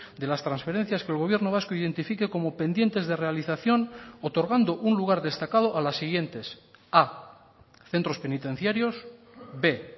de las transferencias que el gobierno vasco identifique como pendientes de realización otorgando un lugar destacado a las siguientes a centros penitenciarios b